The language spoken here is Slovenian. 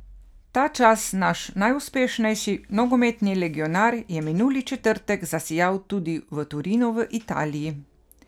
Ta čas naš najuspešnejši nogometni legionar je minuli četrtek zasijal tudi v Torinu v Italiji.